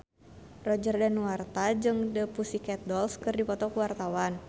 Roger Danuarta jeung The Pussycat Dolls keur dipoto ku wartawan